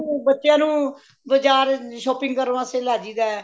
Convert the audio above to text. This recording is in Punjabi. ਬੱਚਿਆਂ ਨੂੰ ਬਾਜ਼ਾਰ shopping ਕਰਨ ਵਾਸਤੇ ਲੈ ਜਾਈਦਾ ਏ